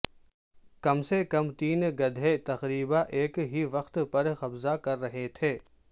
کم سے کم تین گدھے تقریبا ایک ہی وقت پر قبضہ کر رہے تھے